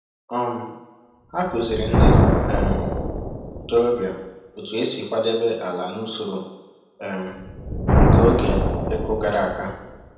um Ha kụziri ndị um ntorobịa otu esi kwadebe ala n’usoro um nke oge ịkụ gara aga